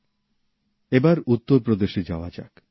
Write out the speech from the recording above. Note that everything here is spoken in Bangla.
চলুন এবার উত্তরপ্রদেশে যাওয়া যাক